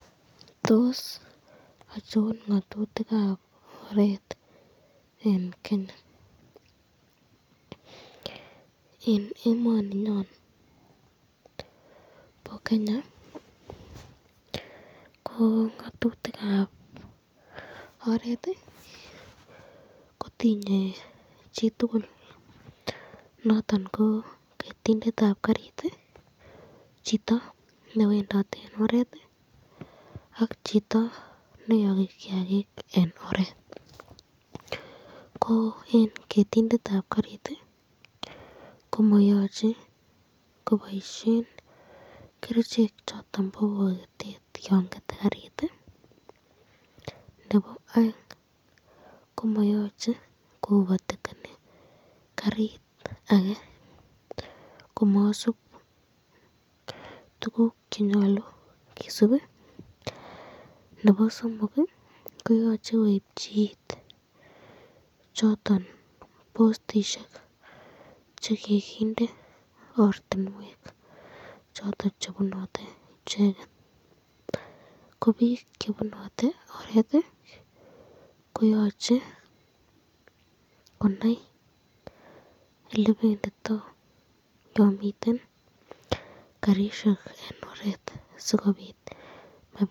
Tos achon ngatutikab oret eng Kenya, ngatutikab oret kotinye chitukul noton ketindetab karit, , chito newendote eng oret, ak chito beyoki kiakik eng oret, ketindetab karit komayache koboisyen kerichek choton chebo bokitet yon kete karit.